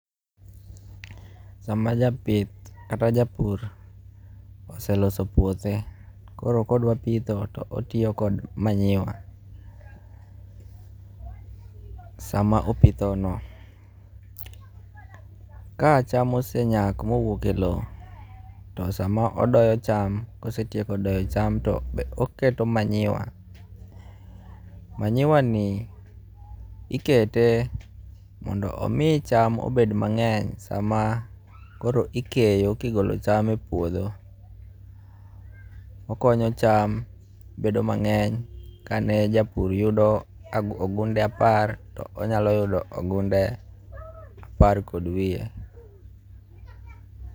Sama japith kata japur oseloso puothe koro kodwa pitho to otiyo kod manyiwa sama opitho no. Ka cham osenyak mowuok e low to sama odoyo cham kosetieko doyo cham to oketo manyiwa. Manyiwa ni ikete mondo omi cham obed mang'eny sama koro ikeyo kigolo cham e puodho. Okonyo cham bedo mang'eny kane japur yudo ogunde apar to onyalo yudo ogunde apar kod wiye.